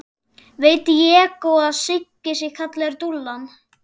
Veit Diego að Siggi sé kallaður Dúllan?